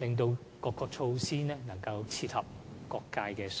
使各項措施能切合業界需要。